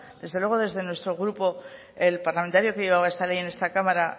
desde luego desde nuestro grupo el parlamentario que llevaba esta ley en esta cámara